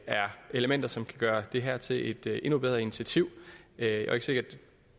er elementer som kan gøre det her til et endnu bedre initiativ jeg er ikke sikker